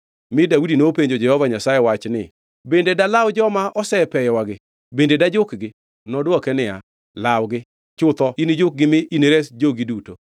mi Daudi nopenjo Jehova Nyasaye wach ni, “Bende dalaw joma osepeyowagi. Bende dajukgi?” Nodwoke niya, “Lawgi. Chutho inijukgi mi inires jogi duto.”